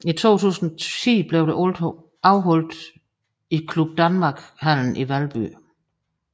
I 2010 blev det afholdt i Club Danmark Hallen i Valby